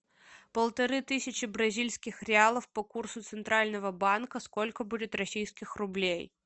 полторы тысячи бразильских реалов по курсу центрального банка сколько будет российских рублей